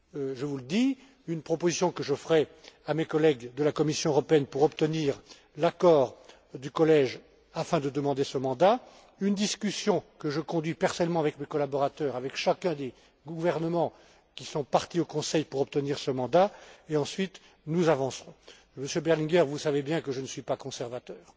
Je vous le dis une proposition que je ferai à mes collègues de la Commission européenne pour obtenir l'accord du Collège afin de demander ce mandat une discussion que je conduis personnellement avec mes collaborateurs, avec chacun des gouvernements qui sont parties au Conseil pour obtenir ce mandat et ensuite, nous avancerons. Monsieur Berlinguer, vous savez bien que je ne suis pas conservateur.